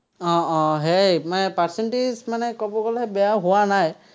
উম উম সেয়াই, মই percentage মানে ক'ব গ'লে বেয়া হোৱা নায়।